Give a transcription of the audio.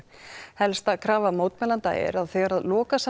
helsta krafa mótmælenda er að þegar